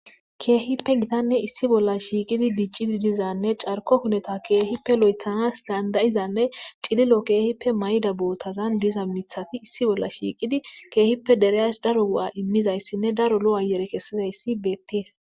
keehippe gitanne issi bolla shiiqidi diiccidi dizanne carko huneta keehippe lo7ethanas dandayizanne cililo keehippe mayda bootazan diza mithati issi bolla shiiqidi keehippe dereyas daro gu7a immizayssinne daro lo7ayere kessizayssi beettees